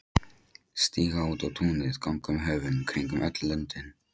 Stíga út á túnið, ganga um höfin, kringum öll löndin.